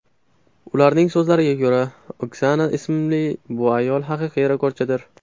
Ularning so‘zlariga ko‘ra, Oksana ismli bu ayol haqiqiy rekordchidir.